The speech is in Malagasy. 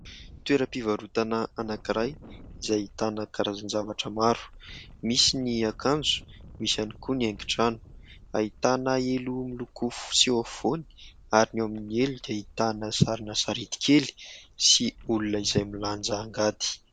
Toeram-pivarotana anankiray izay ahitana karazan-javatra maro. Misy ny akanjo, misy ihany koa ny haingo trano. Ahitana elo miloko fotsy eo afovoany ary ny eo amin'ny elo dia ahitana sarina sarety kely sy olona izay milanja angady.